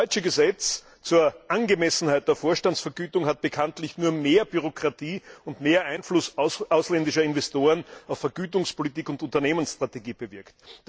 Das deutsche Gesetz zur Angemessenheit der Vorstandsvergütung hat bekanntlich nur mehr Bürokratie und mehr Einfluss ausländischer Investoren auf Vergütungspolitik und Unternehmensstrategie bewirkt.